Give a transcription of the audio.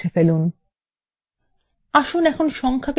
আসুন এখন সংখ্যাকে পূর্ণসংখ্যা পরিবর্তন করা যাক